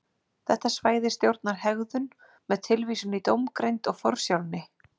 Þetta svæði stjórnar hegðun með tilvísun í dómgreind og forsjálni.